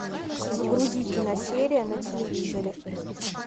загрузи киносерия на телевизоре